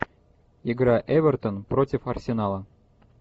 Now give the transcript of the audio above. игра эвертон против арсенала